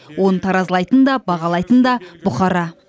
оны таразылайтын да бағалайтын да бұқара